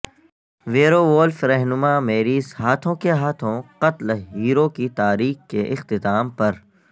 werewolf رہنما میریس ہاتھوں کے ہاتھوں قتل ہیرو کی تاریخ کے اختتام پر